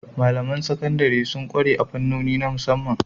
Malamain Sakandare sun kware a fannoni na musamman